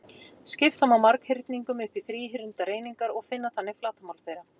Skipta má marghyrningum upp í þríhyrndar einingar og finna þannig flatarmál þeirra.